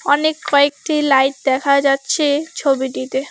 অনেক কয়েকটি লাইট দেখা যাচ্ছে ছবিটিতে।